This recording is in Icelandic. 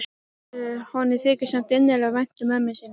Honum þykir samt innilega vænt um mömmu sína.